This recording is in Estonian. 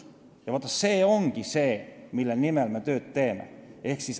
See ongi see, mille nimel me tööd teeme.